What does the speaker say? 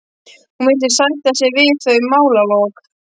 Hún virðist sætta sig við þau málalok.